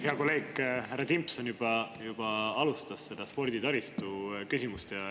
Hea kolleeg härra Timpson juba alustas seda sporditaristu.